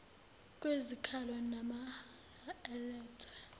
kwezikhalo namahala alethwe